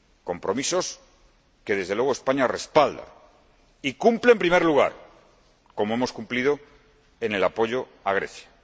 Compromisos que, desde luego, España respalda y cumple en primer lugar, como hemos cumplido en el apoyo a Grecia.